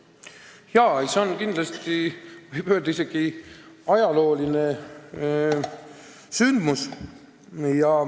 Jaa, see on kindlasti, võib isegi öelda, ajalooline sündmus.